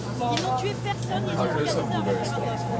Ils n'ont tué personne, ils ont organisé un référendum.